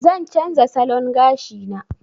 Zan canza salon gashina.